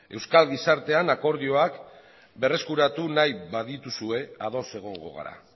euskal gizartean akordioak berreskuratu nahi badituzue ados egongo gara